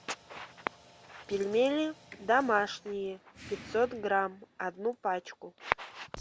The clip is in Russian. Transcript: пельмени домашние пятьсот грамм одну пачку